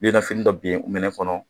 fini dɔ bin o minɛ kɔnɔ